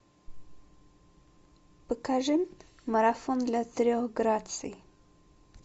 покажи марафон для трех граций